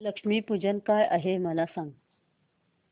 लक्ष्मी पूजन काय आहे मला सांग